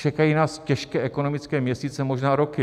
Čekají nás těžké ekonomické měsíce, možná roky.